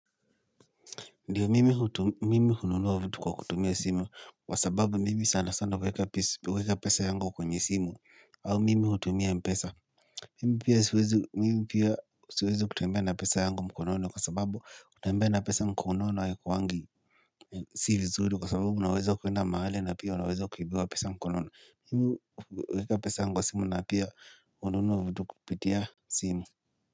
Ndiyo mimi hununua vitu kwa kutumia simu wa sababu mimi sana sana huweka pesa yangu kwenye simu au mimi hutumia mpesa. Mimi pia siwezi kutembea na pesa yangu mkononi kwa sababu kutembea na pesa mkonono haikuwangi si vizuri kwa sababu unaweza kuenda mahali na pia unaweza kuibiwa pesa mkononi. Mimi huweka pesa yangu wa simu na pia hununua vitu kupitia simu.